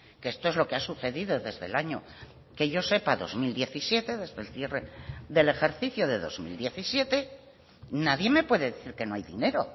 que esto es lo que ha sucedido desde el año que yo sepa dos mil diecisiete desde el cierre del ejercicio de dos mil diecisiete nadie me puede decir que no hay dinero